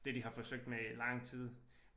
Det de har forsøgt med i lang tid